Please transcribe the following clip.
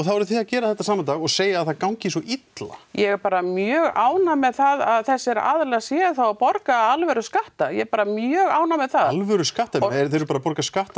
þið gerið þetta sama dag og segið að þeim gangi svo illa ég er bara mjög ánægð með það að þessir aðilar séu þá að borga alvöru skatta ég er bara mjög ánægð með það alvöru skatta þeir eru bara að borga skatta